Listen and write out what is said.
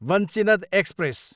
Vanchinad express